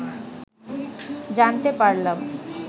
জানতে পারলাম